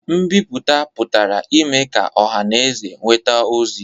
Nbipụta pụtara ime ka ọha na eze nweta ozi